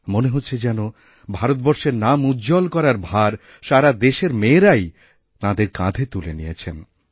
মনে হচ্ছে যেন ভারতবর্ষের নাম উজ্জ্বল করার ভার সারা দেশের মেয়েরাই তাঁদেরকাঁধে তুলে নিয়েছেন